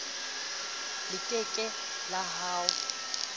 le ke ke la o